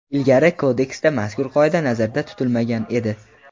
Ilgari Kodeksda mazkur qoida nazarda tutilmagan edi.